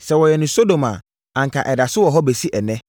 sɛ wɔyɛɛ no wɔ Sodom a, anka ɛda so wɔ hɔ bɛsi ɛnnɛ.